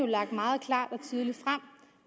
lagt meget klart